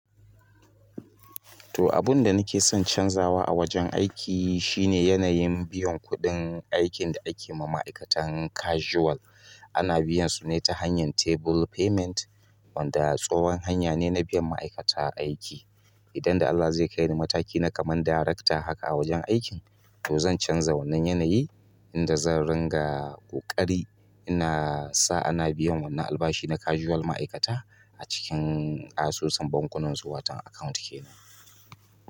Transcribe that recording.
To abun da nake son canzawa a wajen aiki shine yanayin biyan kuɗin aikin da ake ma ma'aikatan casual. Ana biyan su ne ta hanyar table payment wanda tsohon hanya ne na biyan ma'aikata aiki. Idan da Allah zai kai ni mataki na kaman darekta haka a wajen aikin, to zan canza wannan yanayi inda zan ringa ƙoƙari ina sa ana biyan wannan albashi na casual ma'aikata a cikin asusun bankunansu watan account kenan.